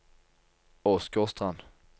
Åsgårdstrand